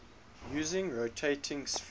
using rotating spheres